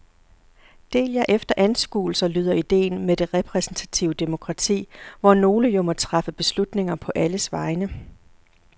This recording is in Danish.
Del jer efter anskuelser lyder ideen med det repræsentative demokrati, hvor nogle jo må træffe beslutninger på alles vegne.